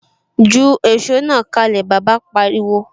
Ju èsó náà kalẹ! Bàbá pariwo.